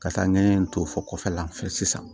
Ka taa ɲɛ in to fɔ kɔfɛla la fɛ sisan